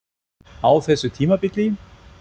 Á þessu tímabili?